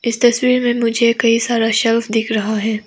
इस तस्वीर में मुझे कई सारा शेल्फ दिख रहा है।